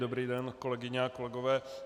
Dobrý den, kolegyně a kolegové.